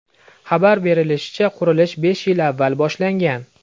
Xabar berilishicha, qurilish besh yil avval boshlangan.